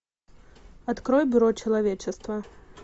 открой бюро человечества